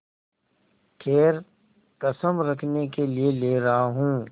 खैर कसम रखने के लिए ले रहा हूँ